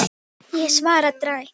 Býr Lúlli ekki hér?